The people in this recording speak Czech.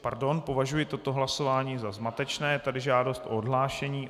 - Pardon, považuji toto hlasování za zmatečné, je tady žádost o odhlášení.